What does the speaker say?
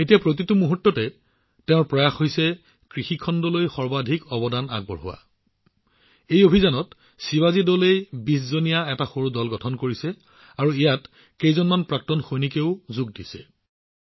এতিয়া প্ৰতিমুহূৰ্তত তেওঁ কৃষি খণ্ডত কেনেদৰে সৰ্বাধিক অৱদান আগবঢ়াব লাগে সেয়া নিশ্চিত কৰিবলৈ চেষ্টা কৰে